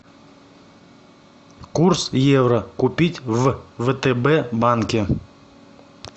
курс евро купить в втб банке